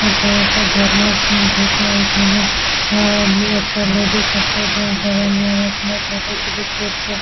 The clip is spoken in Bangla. হেথায় একটা ঝরনার সিন থাকে ।এখানে উমম একটা লেডিস একটা জেন্টস দাঁড়ায় নিয়ে আপনার মতো ফটো ক্লিক করছে ।